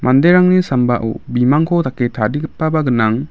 manderangni sambao bimangko dake tarigipaba gnang.